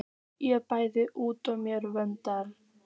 Ég blæs út á mér vöðvana.